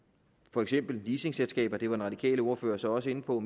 for eksempel leasingselskaber det var den radikale ordfører så også inde på